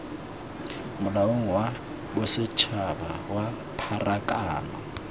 molaong wa bosetshaba wa pharakano